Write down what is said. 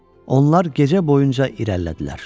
Onlar gecə boyunca irəlilədilər.